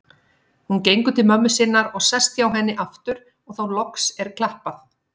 Hún gengur til mömmu sinnar og sest hjá henni aftur og þá loks er klappað.